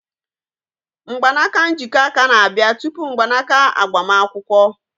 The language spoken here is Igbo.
Mgbanaka njikọ aka na-abịa tupu mgbanaka agbamakwụkwọ.